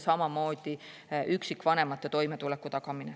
Samamoodi on tähtis üksikvanemate toimetuleku tagamine.